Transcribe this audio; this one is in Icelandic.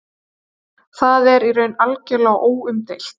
Það er í raun algjörlega óumdeilt